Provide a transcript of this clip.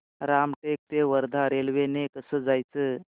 रामटेक ते वर्धा रेल्वे ने कसं जायचं